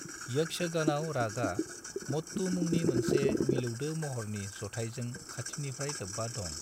यक्षगानआव रागआ मट्टू मुंनि मोनसे मिलौदो महरनि जथायजों खाथिनिफ्राय लोब्बा दं।